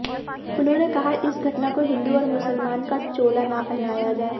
उन्होंने कहा इस घटना को हिन्दू और मुसलमान का चोला न पहनाया जाए